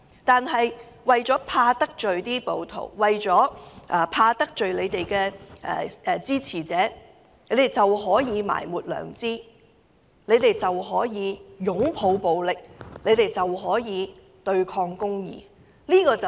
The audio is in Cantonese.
但是，為免得罪暴徒，為免得罪他們的支持者，他們便可以埋沒良知，他們便可以擁抱暴力，他們便可以對抗公義。